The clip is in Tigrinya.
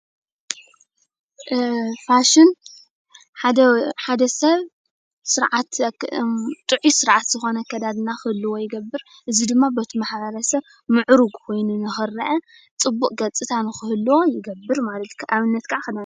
ፋሽን ሓደ ሓደ ሰብ ስርዓት ጥዑይ ስርዓት ዝኮነ ኣካዳድና ከህልዎ ይገብር። እዚ ዲማ በቲ ማሕብረሰብ ምዕሩግ ኮይኑ ንኽረእ ፅቡቕ ገፅታት ንኽህልዎ ይገብር፡፡ ኣብነት ካዓ ክዳን።